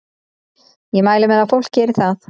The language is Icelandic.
Ég mæli með að fólk geri það.